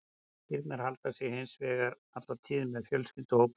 Kýrnar halda sig hins vegar alla tíð með fjölskylduhópnum.